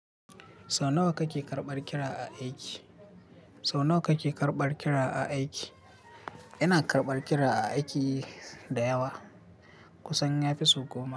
Sau nawa kake karɓar kira a aiki? Sau nawa kake karɓar kira a aiki? Ina karɓar kira a aiki da yawa kusan yafi sai goma.